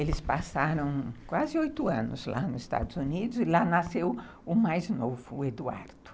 Eles passaram quase oito anos lá nos Estados Unidos e lá nasceu o mais novo, o Eduardo.